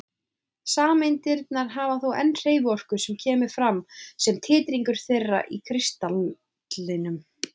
Sameindirnar hafa þó enn hreyfiorku sem kemur fram sem titringur þeirra í kristallinum.